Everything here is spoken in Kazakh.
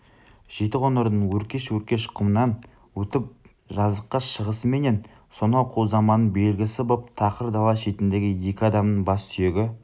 жетіқоңырдың өркеш-өркеш құмынан өтіп жазыққа шығысыменен сонау қу заманның белгісі боп тақыр дала шетіндегі екі адамның бас сүйегі